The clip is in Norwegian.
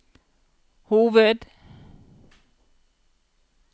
hoved